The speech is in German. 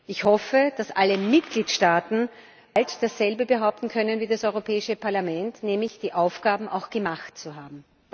Ich hoffe, dass alle Mitgliedstaaten bald dasselbe behaupten können wie das Europäische Parlament, nämlich ihre Aufgaben gemacht zu haben.